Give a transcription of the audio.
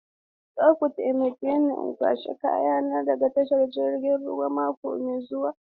Za ku taimake ni in kwashe kayana daga tashar jirgin ruwa mako mai zuwa.